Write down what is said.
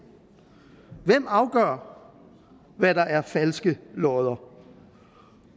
hvem afgør hvad der er falske lodder